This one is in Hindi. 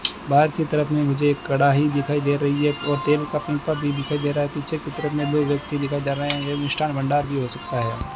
बाहर की तरफ में मुझे एक कड़ाही दिखाई दे रही है और तेल का पिंपा दिखाई दे रहा है पीछे की तरफ में दो व्यक्ति दिखाई दे रहे हैं मिष्ठान भंडार भी हो सकता है।